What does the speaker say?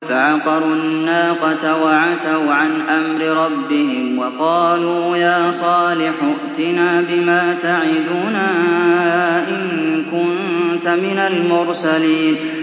فَعَقَرُوا النَّاقَةَ وَعَتَوْا عَنْ أَمْرِ رَبِّهِمْ وَقَالُوا يَا صَالِحُ ائْتِنَا بِمَا تَعِدُنَا إِن كُنتَ مِنَ الْمُرْسَلِينَ